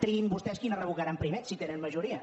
triïn vostès quina revocaran primer si tenen majoria